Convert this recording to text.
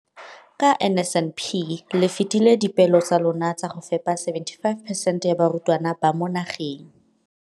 Ka NSNP le fetile dipeelo tsa lona tsa go fepa masome a supa le botlhano a diperesente ya barutwana ba mo nageng.